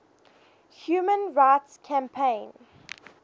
human rights campaign